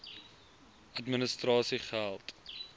administrasiegeldr